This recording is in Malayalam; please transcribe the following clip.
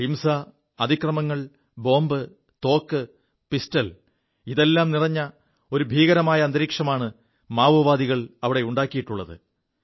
ഹിംസ അതിക്രമങ്ങൾ ബോംബ് തോക്ക് പിസ്റ്റൾ ഇതെല്ലാം നിറഞ്ഞ ഒരു ഭീകരമായ അന്തരീക്ഷമാണ് മാവോവാദികൾ അവിടെ ഉണ്ടാക്കിയിുള്ളത്